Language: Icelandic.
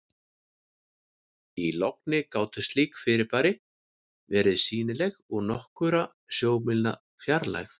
Í logni gátu slík fyrirbæri verið sýnileg úr nokkurra sjómílna fjarlægð.